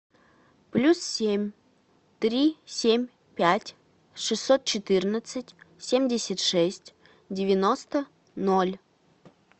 плюс семь три семь пять шестьсот четырнадцать семьдесят шесть девяносто ноль